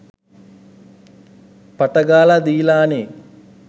පට ගාලා දීලානේ.